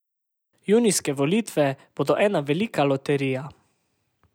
Junijske volitve bodo ena velika loterija.